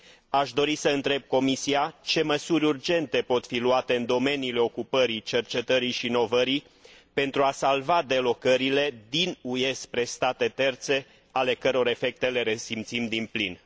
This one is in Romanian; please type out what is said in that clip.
Aș dori să întreb Comisia ce măsuri urgente pot fi luate în domeniile ocupării, cercetării și inovării, pentru a salva delocalizările din UE spre state terțe ale căror efecte le resimțim din plin?